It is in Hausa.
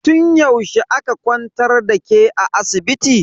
Tun yaushe aka kwantar da ke a asibiti?